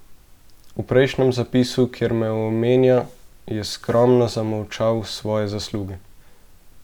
V prejšnjem zapisu, kjer me omenja, je skromno zamolčal svoje zasluge.